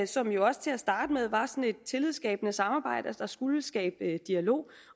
som jo også til at starte med var sådan et tillidsskabende samarbejde der skulle skabe dialog